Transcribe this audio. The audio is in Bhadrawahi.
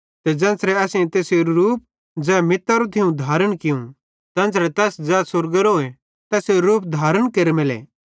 ते ज़ेन्च़रे असेईं तैसेरू रूप ज़ै मितारो थियूं धारण कियूं तेन्च़रे तैस ज़ै स्वर्गएरोए तैसेरू रूप धारण केरेमेले